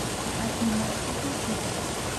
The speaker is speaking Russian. афина хупла кидс